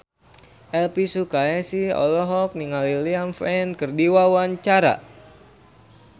Elvi Sukaesih olohok ningali Liam Payne keur diwawancara